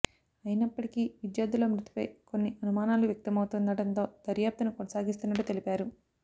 అయినప్పటికీ విద్యార్థుల మృతిపై కొన్ని అనుమానాలు వ్యక్తమవుతుండడంతో దర్యాప్తును కొనసాగిస్తున్నట్టు తెలిపారు